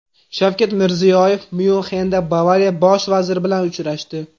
Shavkat Mirziyoyev Myunxenda Bavariya bosh vaziri bilan uchrashdi.